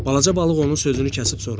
Balaca balıq onun sözünü kəsib soruşdu.